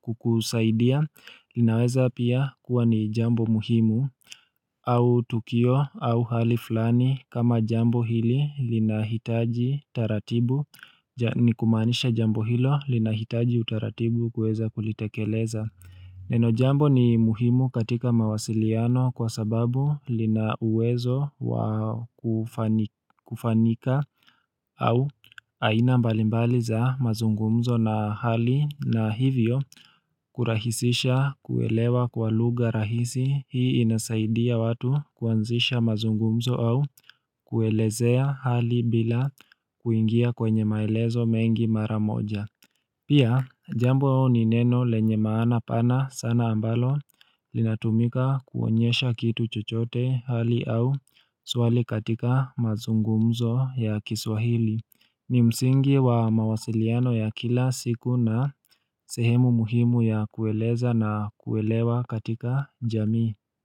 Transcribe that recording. kukusaidia linaweza pia kuwa ni jambo muhimu au tukio au hali flani kama jambo hili linahitaji taratibu nikumanisha jambo hilo lina hitaji utaratibu kweza kulitekeleza. Neno jambo ni muhimu katika mawasiliano kwa sababu lina uwezo kufanika au aina mbalimbali za mazungumzo na hali na hivyo kurahisisha kuelewa kwa lugha rahisi hii inasaidia watu kuanzisha mazungumzo au kuelezea hali bila kuingia kwenye maelezo mengi mara moja. Pia jambo ni neno lenye maana pana sana ambalo linatumika kuonyesha kitu chochote hali au swali katika mazungumzo ya kiswahili ni msingi wa mawasiliano ya kila siku na sehemu muhimu ya kueleza na kuelewa katika jamii.